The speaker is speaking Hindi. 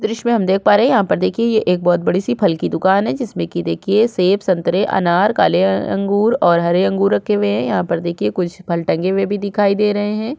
दृश में हम देख पा रहे है यहाँ पर देखिये ये एक बहुत बड़ी सी फल की दुकान है जिसमे की देखिए सेब संतरे अनार काले अंगूर और हरे अंगूर रखे हुए है यहाँ पर देखिए कुछ फल टंगे हुए भी दिखाई दे रहे है।